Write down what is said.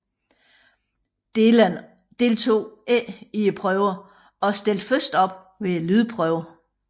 Dylan deltog ikke i prøverne og stillede først op ved lydprøven